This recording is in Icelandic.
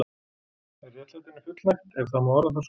Er réttlætinu fullnægt, ef það má orða það svo?